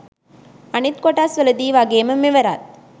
අනිත් කොටස්වල දි වගේම මෙවරත්